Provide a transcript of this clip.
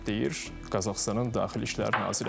Deyir Qazaxıstanın Daxili İşlər naziri.